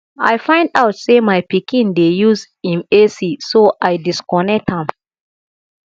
i find out say my pikin dey use im ac so i disconnect am